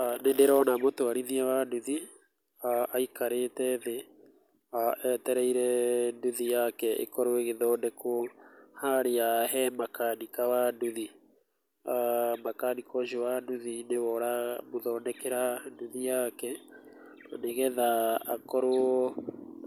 Uh, nĩ ndĩrona mũtwarithia wa nduthi, uh aikarĩte thĩ , [uh ]etereire nduthi yake ĩkorwo ĩgithondekwo harĩa he makanika wa nduthi. Uh makanika ũcio wa nduthi nĩwe ũramũthondekera nduthi yake nĩgetha akorwo